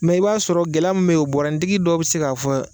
i b'a sɔrɔ gɛlɛya min beyi bɔrɔnintigi dɔ bɛ se ka fɔ.